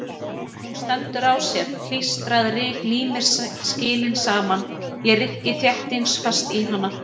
Hún stendur á sér, klístrað ryk límir skilin saman, ég rykki þéttingsfast í hana.